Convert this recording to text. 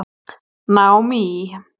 Naomí